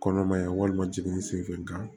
Kɔnɔmaya walima jigin sen fɛ nga